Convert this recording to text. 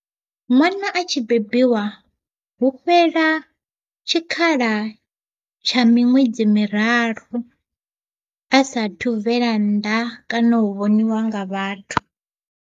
Ṅwana a tshi bebiwa hu fhela tshikhala tsha miṅwedzi miraru a sathu u bvela nnḓa kana u vhoniwa nga vhathu.